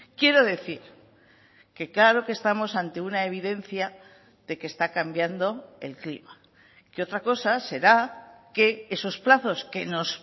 quiero decir que claro que estamos ante una evidencia de que está cambiando el clima que otra cosa será que esos plazos que nos